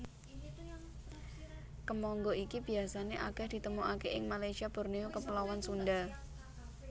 Kemangga iki biasané akèh ditemokaké ing Malasyia Borneo Kepulauan Sunda